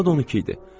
Saat 12 idi.